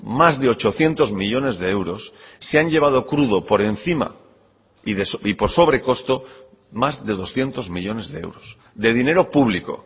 más de ochocientos millónes de euros se han llevado crudo por encima y por sobrecosto más de doscientos millónes de euros de dinero público